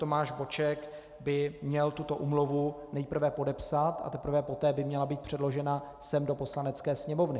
Tomáš Boček by měl tuto úmluvu nejprve podepsat, a teprve poté by měla být předložena sem do Poslanecké sněmovny.